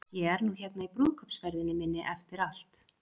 Ég er nú hérna í brúðkaupsferðinni minni eftir allt.